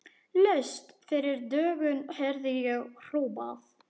Laust fyrir dögun heyrði ég hrópað.